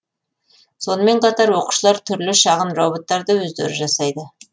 сонымен қатар оқушылар түрлі шағын роботтарды өздері жасайды